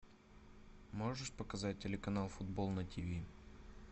можешь показать телеканал футбол на тв